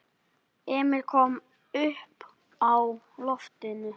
Emil kom uppá loftið.